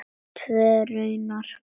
Tvö raunar.